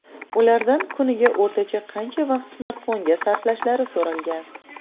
Ulardan kuniga o‘rtacha qancha vaqt smartfonga sarflashlari so‘ralgan.